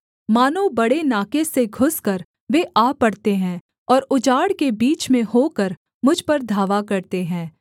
मानो बड़े नाके से घुसकर वे आ पड़ते हैं और उजाड़ के बीच में होकर मुझ पर धावा करते हैं